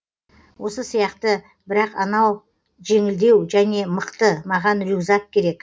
осы сияқты бірақ анау жеңілдеу және мықты маған рюкзак керек